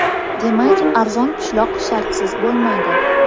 Demak, arzon pishloq shartsiz bo‘lmaydi.